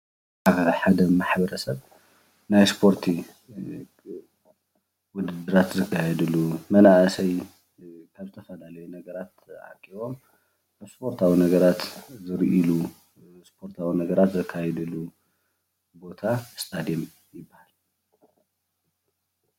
ኣብ ሓደ ማሕበረሰብ ናይ እስፖርቲ ውድድራት ዝካየድሉ መናእሰይ ካብ ዝተፈላለዩ ነገራት ተኣኪቦም እስፖርታዊ ነገራት ዝርእሉ እስፖርታዊ ነገራት ዘካይድሉ ቦታ እስታድዮም ይባሃል፡፡